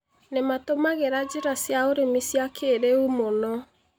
Nĩma tũmagĩra njĩra cĩa ũrĩmi cia kirĩu mũno